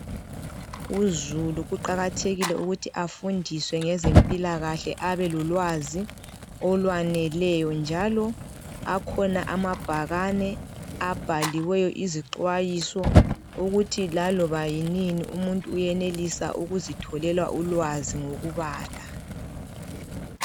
Uzulu kuqakathekile ukuthi afundiswe ngezempilakahle abelolwazi olwaneleyo njalo akhona amabhakane abhaliweyo izixwayiso ukuthi laloba yinini umuntu uyenelisa ukuzitholela ulwazi ngokubala.